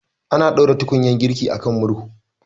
Ana ɗaura tukunyar girki akan murhu